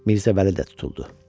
Mirzə Vəli də tutuldu.